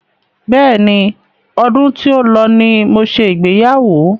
Bẹ́ẹ̀ni, ọdún tí ó lọ ní mo ṣe ìgbéyàwó.